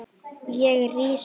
Ég rís upp.